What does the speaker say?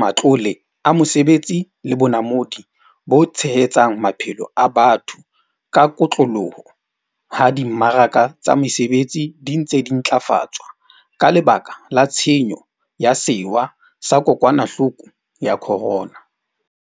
matlole a mesebetsi le bonamodi bo tshehetsang maphelo a batho ka kotloloho ha di mmaraka tsa mesebetsi di ntse di ntlafatswa ka lebaka la tshenyo ya sewa sa ko kwanahloko ya corona.